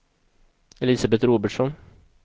Elisabet Robertsson